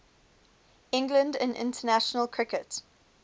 england in international cricket